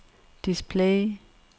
display